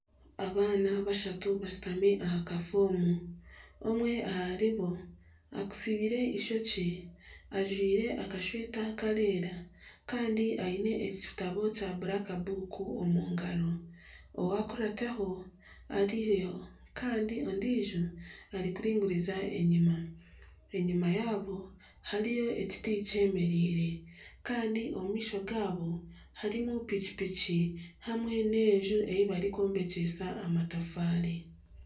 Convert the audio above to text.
Abaana bashatu bashutami aha kafoomu. Omwe aharibo atsibire eishokye ajwaire akashweta karikwera. Kandi aine ekitabo kya blackbook omu ngaro. Owakurataho ari nawe kandi ondiijo arikuringuriza enyima. Enyima yabo hariyo ekiti kyemereire kandi omu maisho gaabo harimu pikipiki hamwe n'enju ei barikwombekyesa amatafaari.